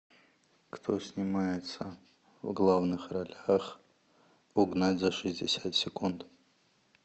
кто снимается в главных ролях угнать за шестьдесят секунд